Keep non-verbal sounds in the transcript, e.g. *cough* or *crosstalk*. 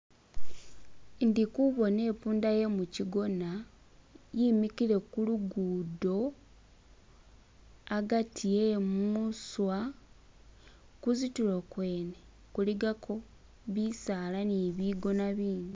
*skip* indikubona ipunda yemu kyigona yimikile kulugudo *skip* agati yemuswa *skip* kuzitulo kwene kuligako bisaala ni bigona bindi